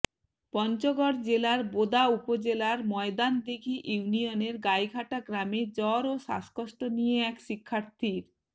পঞ্চগড় জেলার বোদা উপজেলার ময়দানদিঘী ইউনিয়নের গাইঘাটা গ্রামে জ্বর ও শ্বাসকষ্ট নিয়ে এক শিক্ষার্থীর